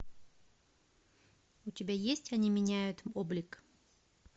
у тебя есть они меняют облик